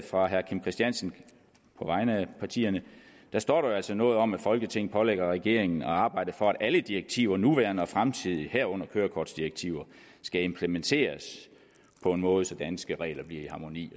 fra herre kim christiansen på vegne af partierne står der jo altså noget om at folketinget pålægger regeringen at arbejde for at alle direktiver nuværende og fremtidige herunder kørekortsdirektiver skal implementeres på en måde så danske regler bliver i harmoni